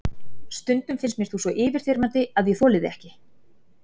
Stundum finnst mér þú svo yfirþyrmandi að ég þoli þig ekki.